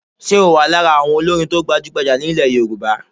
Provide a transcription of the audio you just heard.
Ṣe o wà lára àwọn olórin to gbajugbajà ní ilẹ̀ Yorùbá?